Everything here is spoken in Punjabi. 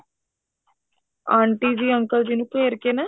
ਆਂਟੀ ਜੀ uncle ਜੀ ਨੂ ਘੇਰ ਕੇ ਨਾ